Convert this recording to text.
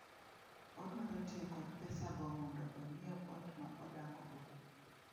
Odwaro tiyo kod pesago mondo onyiew ot ma odakgo.